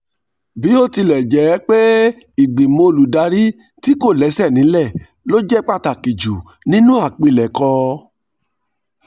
bó tilẹ̀ jẹ́ pé ìgbìmọ̀ olùdarí tí kò lẹ́sẹ̀ nílẹ̀ ló jẹ́ pàtàkì jù nínú àpilẹ̀kọ